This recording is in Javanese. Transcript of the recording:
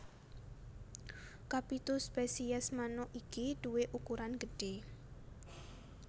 Kapitu spesies manuk iki duwé ukuran gedhé